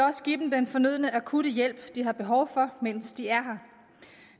også give dem den fornødne akutte hjælp de har behov for mens de er her